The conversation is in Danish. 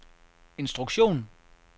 instruktion